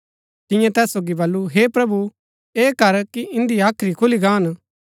तिन्यै तैस सोगी बल्लू हे प्रभु ऐह कर कि इन्दी हाख्री खुली गान